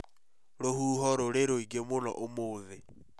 Rũhuho rũrĩ rũingi mũno ũmũthĩ